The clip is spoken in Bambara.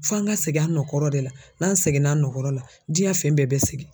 F'an ka segin an nɔ kɔrɔ de la n'an seginna an nɔ kɔrɔ la diyɛn fɛn bɛɛ bɛ segin.